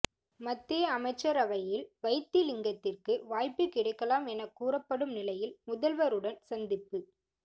மத்திய அமைச்சரவையில் வைத்திலிங்கத்திற்கு வாய்ப்பு கிடைக்கலாம் என கூறப்படும் நிலையில் முதல்வருடன் சந்திப்பு